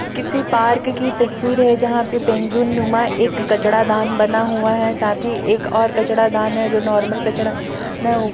किसी पार्क की तस्वीर है जहाँ पे पेंगुइन नुमा एक कचड़ा दान बना हुआ है साथ ही एक और कचड़ा दान है जो नार्मल कचड़ा दान है ओ --